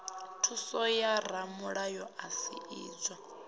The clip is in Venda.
thuso ya ramulayo sa idzwo